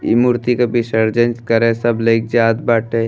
ई मूर्ति के विसर्जन करे सब लई क जात बाटे।